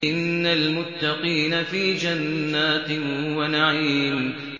إِنَّ الْمُتَّقِينَ فِي جَنَّاتٍ وَنَعِيمٍ